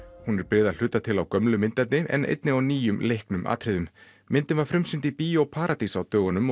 hún er byggð að hluta til á gömlu myndefni en einnig á nýjum leiknum atriðum myndin var frumsýnd í Bíó paradís á dögunum